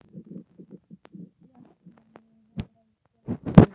Bjarg sem lyfta Grettir vann.